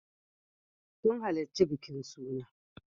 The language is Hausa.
Sun halarci bikin suna.